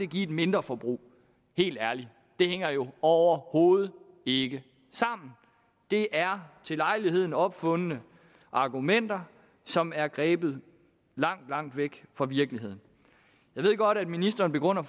give et mindre forbrug helt ærligt det hænger jo overhovedet ikke sammen det er til lejligheden opfundne argumenter som er grebet langt langt væk fra virkeligheden jeg ved godt at ministeren begrunder